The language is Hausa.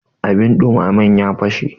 abin dumamen ya fashe